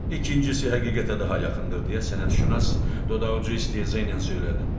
İkincisi həqiqətə daha yaxındır deyə sənətşünas dodaq ucu istehza ilə söylədi.